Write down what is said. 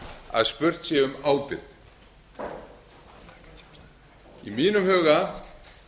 að spurt sé um ábyrgð í mínum huga